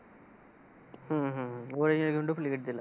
हम्म हम्म original च duplicate दिलं.